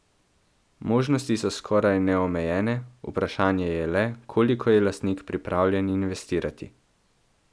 Možnosti so skoraj neomejene, vprašanje je le, koliko je lastnik pripravljen investirati.